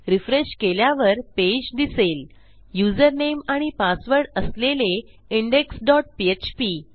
refresh केल्यावर page दिसेल username आणि पासवर्ड असलेले इंडेक्स डॉट पीएचपी